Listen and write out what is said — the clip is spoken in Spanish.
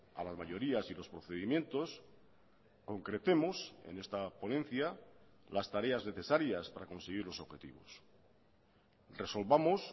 a las mayorías y los procedimientos concretemos en esta ponencia las tareas necesarias para conseguir los objetivos resolvamos